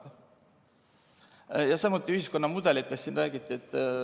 Samuti räägiti siin ühiskonnamudelitest ja ‑kihtidest.